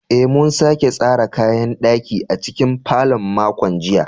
Eh, mun sake tsara kayan ɗaki a cikin falon makon jiya